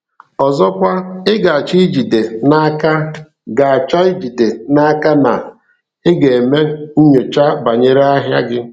Ọzọkwa, ị ga-achọ ijide n’aka ga-achọ ijide n’aka na ị ga-eme nnyocha banyere ahịa gị.